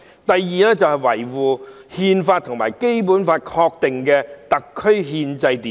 第二，維護《中華人民共和國憲法》和《基本法》確定的特區憲制秩序。